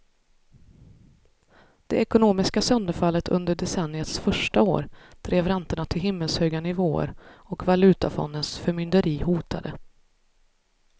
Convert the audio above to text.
Det ekonomiska sönderfallet under decenniets första år drev räntorna till himmelshöga nivåer och valutafondens förmynderi hotade.